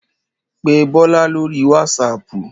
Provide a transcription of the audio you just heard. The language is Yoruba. Pé Bọ́lá lóri wásaapù.